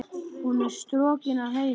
Hún er strokin að heiman.